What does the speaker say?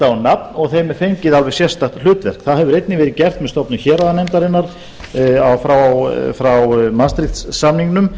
á nafn og þeim fengið alveg sérstakt hlutverk það hefur einnig verið gert með stofnun héraðanefndarinnar frá madrid samningnum